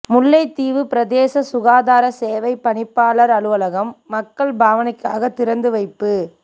முல்லைத்தீவு பிரதேச சுகாதார சேவை பணிப்பாளர் அலுவலகம் மக்கள் பவானைக்காக திறந்து வைப்பு